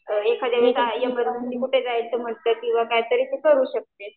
एखादं कुठे जायचं म्हंटल किंवा काहीतरी तर करू शकते.